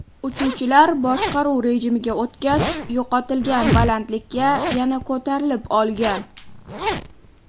Uchuvchilar boshqaruv rejimiga o‘tgach, yo‘qotilgan balandlikka yana ko‘tarilib olgan.